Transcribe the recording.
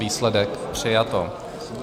Výsledek: přijato.